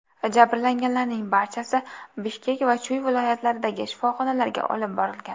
Jabrlanganlarning barchasi Bishkek va Chuy viloyatlaridagi shifoxonalarga olib borilgan.